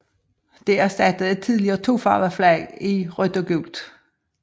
Det erstattede et tidligere tofarvet flag i rødt og gult